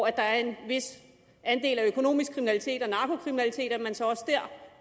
er en vis andel af økonomisk kriminalitet og narkokriminalitet